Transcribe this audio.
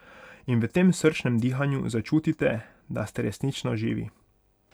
In v tem srčnem dihanju začutite, da ste resnično živi.